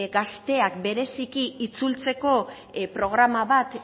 gazteak bereziki itzultzeko programa bat